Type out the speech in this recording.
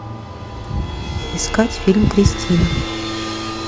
искать фильм кристина